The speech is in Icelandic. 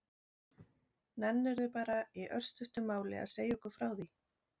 Nennirðu bara í örstuttu máli að segja okkur frá því?